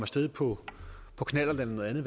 sted på på knallert eller noget andet